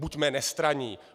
Buďme nestranní.